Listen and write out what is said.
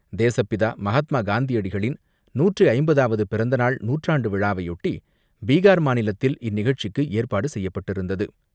தேசப்பிதா மகாத்மா காந்தியடிகளின் நூற்று ஐம்பதாவது பிறந்தநாள் நூற்றாண்டு விழாவையொட்டி, பீகார் மாநிலத்தில் இந்நிகழ்ச்சிக்கு ஏற்பாடு செய்யப்பட்டிருந்தது.